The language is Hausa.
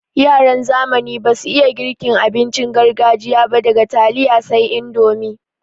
Yaran zamani basu iya girka abincin gargajiya ba daga taliya sai indomi.